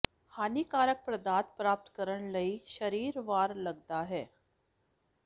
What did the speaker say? ਹਾਨੀਕਾਰਕ ਪਦਾਰਥ ਪ੍ਰਾਪਤ ਕਰਨ ਲਈ ਸਰੀਰ ਵਾਰ ਲੱਗਦਾ ਹੈ